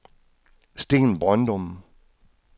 Sten Brøndum